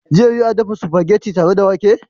Zai yiwu a dafa spaghetti tare da wake?